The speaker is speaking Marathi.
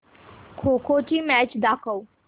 खो खो ची मॅच दाखव